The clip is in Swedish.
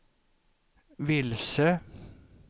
vilse